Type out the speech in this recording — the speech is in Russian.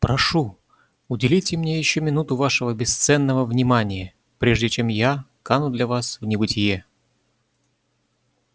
прошу уделите мне ещё минуту вашего бесценного внимания прежде чем я кану для вас в небытие